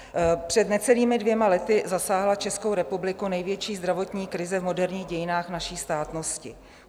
Před necelými dvěma lety zasáhla Českou republiku největší zdravotní krize v moderních dějinách naší státnosti.